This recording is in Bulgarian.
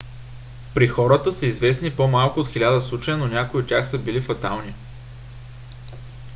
при хората са известни по-малко от хиляда случая но някои от тях са били фатални